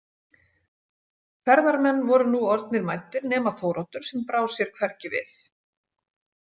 Ferðarmenn voru nú orðnir mæddir nema Þóroddur sem brá sér hvergi við.